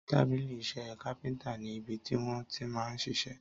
Tàbílí isé kápéntà ni ibití wọn tí man ṣiṣẹ́